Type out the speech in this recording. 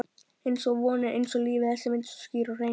einsog vonin, einsog lífið- þessi mynd svo skýr og hrein.